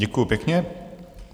Děkuju pěkně.